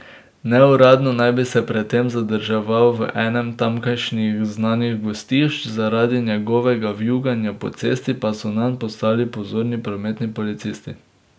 Neuradno naj bi se pred tem zadrževal v enem tamkajšnjih znanih gostišč, zaradi njegovega vijuganja po cesti pa so nanj postali pozorni prometni policisti.